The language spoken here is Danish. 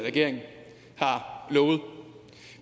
regering lovede